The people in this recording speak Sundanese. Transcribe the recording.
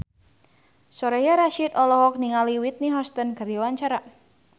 Soraya Rasyid olohok ningali Whitney Houston keur diwawancara